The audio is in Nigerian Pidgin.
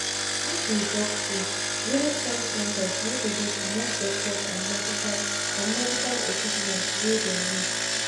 make we talk truevillage health centers no dey get enough doctors and medical and medical equipment wey dem need.